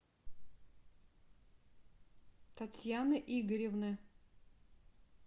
татьяны игоревны